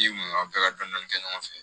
I kun a bɛɛ ka dɔni dɔni kɛ ɲɔgɔn fɛ